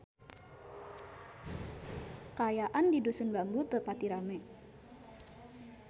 Kaayaan di Dusun Bambu teu pati rame